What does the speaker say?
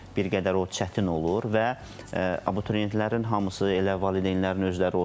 Bir qədər o çətin olur və abituriyentlərin hamısı elə valideynlərin özləri olsun.